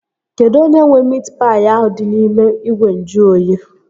Kedụ onye nwee miit paị ahụ dị n'ime ìgwè nju oyi?